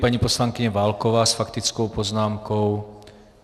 Paní poslankyně Válková s faktickou poznámkou.